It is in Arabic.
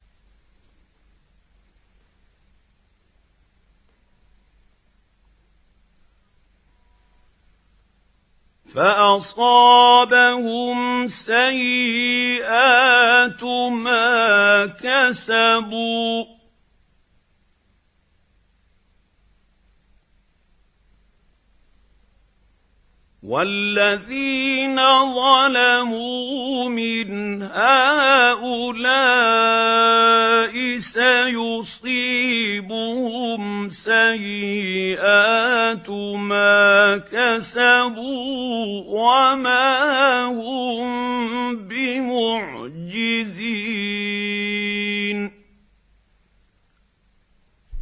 فَأَصَابَهُمْ سَيِّئَاتُ مَا كَسَبُوا ۚ وَالَّذِينَ ظَلَمُوا مِنْ هَٰؤُلَاءِ سَيُصِيبُهُمْ سَيِّئَاتُ مَا كَسَبُوا وَمَا هُم بِمُعْجِزِينَ